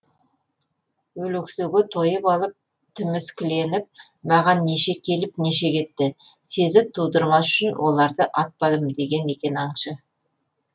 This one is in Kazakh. өлексеге тойып алып тіміскіленіп маған неше келіп неше кетті сезік тудырмас үшін оларды атпадым деген екен аңшы